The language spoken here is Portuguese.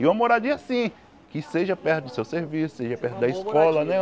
E uma moradia assim, que seja perto do seu serviço, seja perto Uma boa moradia Da escola, né?